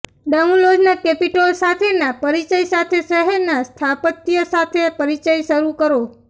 ટાઉલોઝના Capitole સાથેના પરિચય સાથે શહેરના સ્થાપત્ય સાથે પરિચય શરૂ કરો